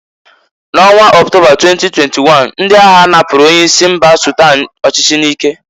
N'ọnwa Octoba 2021, ndị agha napuru onye isi mba Sudan ọchịchị n'ike.